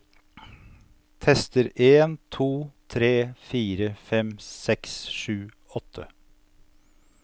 Tester en to tre fire fem seks sju åtte